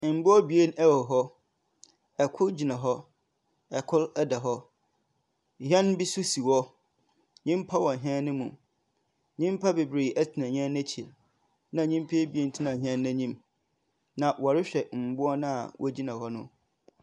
Mboa ebien wɔ hɔ. Kor gyina hɔ, kor da hɔ. Hɛn bi nso si hɔ. Nyimpa wɔ hɛn no mu. Nyimpa bebree tsena hɛn n'ekyir, na nyimpa ebiem tsena n'enyim, na wɔrehwɛ mboa no a wogyina hɔn no.